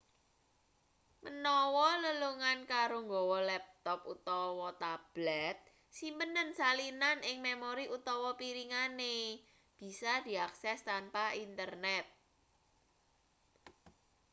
menawa lelungan karo nggawa laptop utawa tablet simpenen salinan ing memori utawa piringane bisa diakses tanpa internet